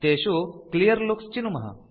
तेषु क्लियरलुक्स चिनुमः